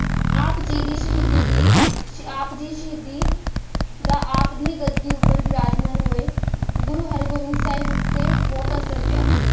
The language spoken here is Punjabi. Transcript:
ਆਪ ਜੀ ਦੀ ਸ਼ਹੀਦੀ ਦੀ, ਆਪ ਦੀ ਸ਼ਹੀਦੀ ਦਾ ਆਪ ਦੀ ਗੱਦੀ ਉੱਪਰ ਬਿਰਾਜਮਾਨ ਹੋਏ ਗੁਰੂ ਹਰਗੋਬਿੰਦ ਸਾਹਿਬ ਉੱਤੇ ਬਹੁਤ ਅਸਰ ਪਿਆ।